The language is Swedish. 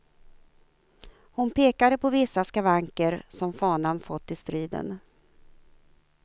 Hon pekade på vissa skavanker som fanan fått i striden.